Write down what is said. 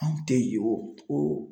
Anw tɛ yen o